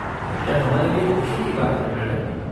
यह हमारे लिए ख़ुशी की बात है, मैडम।